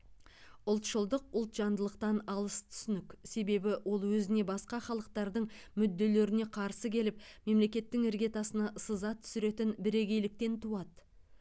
ұлтшылдық ұлтжандылықтан алыс түсінік себебі ол өзіне басқа халықтардың мүдделеріне қарсы келіп мемлекеттің іргетасына сызат түсіретін бірегейліктен туады